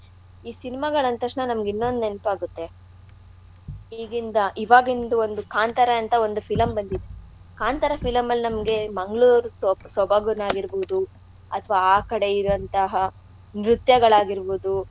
ಈ cinema ಗಳ್ ಅಂದ್ತಕ್ಷಣ ನಮ್ಗ್ ಇನ್ನೊಂದ್ ನೆನ್ಪ್ ಆಗುತ್ತೆ ಈಗಿಂದ ಈವಾಗಿಂದು ಒಂದು ಕಾಂತಾರ ಅಂತ ಒಂದು film ಬಂದಿದತ್ ಕಾಂತಾರ film ಅಲ್ ನಮ್ಗೆ ಮಂಗಳೂರು ಸ್ವಬಗ್~ ಸ್ವಬಗುನೆ ಆಗಿರ್ಬೋದು ಅಥವಾ ಆಕಡೆ ಇರಂಥಹಾ ನೃತ್ಯಗಳಾಗಿರ್ಬೋದು.